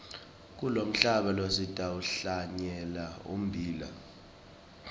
kulomhlaba lo sitawuhlanyela ummbila